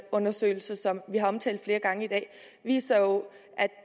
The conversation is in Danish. undersøgelse som vi har omtalt flere gange i dag viser jo